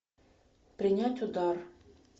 принять удар